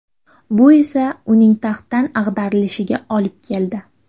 Bu esa uning taxtdan ag‘darilishiga olib keldi.